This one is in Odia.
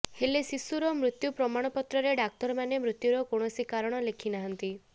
ହେଲେ ଶିଶୁର ମୃତ୍ୟୁ ପ୍ରମାଣ ପତ୍ରରେ ଡ଼ାକ୍ତରମାନେ ମୃତ୍ୟୁର କୌଣସି କାରଣ ଲେଖିନାହାନ୍ତି